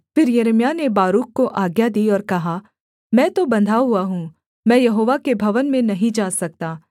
फिर यिर्मयाह ने बारूक को आज्ञा दी और कहा मैं तो बन्धा हुआ हूँ मैं यहोवा के भवन में नहीं जा सकता